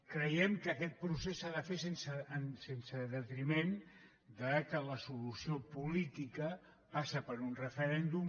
creiem que aquest procés s’ha de fer sense detriment que la solució política passa per un referèndum